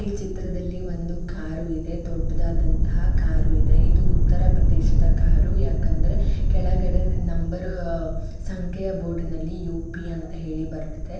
ಈ ಚಿತ್ರದಲ್ಲಿ ಒಂದು ಕಾರು ಇದೆ ದೊಡ್ಡದಾದಂತಹ ಕಾರು ಇದೆ ಇದು ಉತ್ತರ ಪ್ರದೇಶದ ಕಾರು ಯಾಕೆ ಅಂದರೆ ಕೆಳಗಡೆ ನಂಬರ್ ಸಂಖ್ಯೆಯ ಬೋರ್ಡಿನಲ್ಲಿ ಯು.ಪಿ ಅಂತ ಹೇಳಿ ಬರೆದಿದೆ.